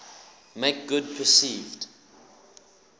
make good perceived